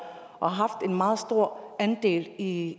og haft en meget stor andel i